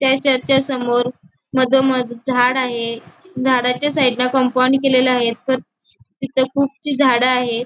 त्या चर्चा च्या समोर मधोमध झाड आहे. झाडाच्या साईडन कंपाउंड केला आहे तिथ खूपशी झाड आहेत.